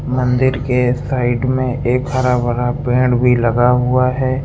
मंदिर के साइड में एक हरा भरा पेड़ भी लगा हुआ है।